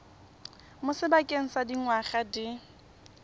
mo sebakeng sa dingwaga di